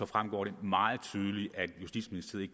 fremgår det meget tydeligt at justitsministeriet